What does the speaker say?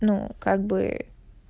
ну как бы